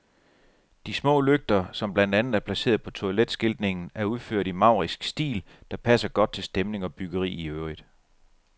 De små lygter, som blandt andet er placeret på toiletskiltningen, er udført i en maurisk stil, der passer godt til stemning og byggeri i øvrigt.